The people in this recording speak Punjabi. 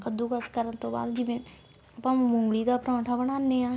ਕੱਦੁਕਸ ਕਰਨ ਤੋਂ ਬਾਅਦ ਜਿਵੇਂ ਆਪਾਂ ਮੂਲੀ ਦਾ ਪਰੋਂਠਾ ਬਣਾਨੇ ਆ